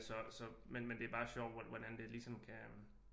Så så men det bare sjovt hvordan det ligesom kan øh